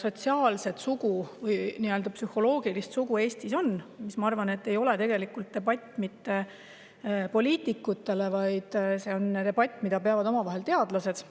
sotsiaalset sugu või psühholoogilist sugu Eestis on, minu arvates see ei ole tegelikult debatt poliitikute vahel, vaid see on debatt, mida peavad omavahel teadlased.